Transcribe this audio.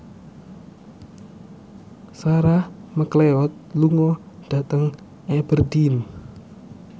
Sarah McLeod lunga dhateng Aberdeen